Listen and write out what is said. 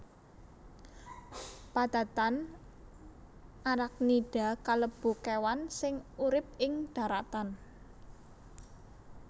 Padatan Arachnida kalebu kéwan sing urip ing dharatan